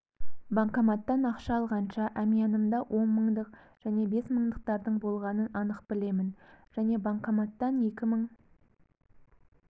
банкоматтан ақша алғанша әмиянымда он мыңдық және бес мыңдықтардың болғанын анық білемін және банкоматтан екі мың